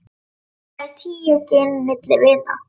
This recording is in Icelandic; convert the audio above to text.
Hvað eru tíu gin milli vina.